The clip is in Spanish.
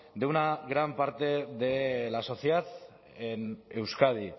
de una gran parte de la sociedad en euskadi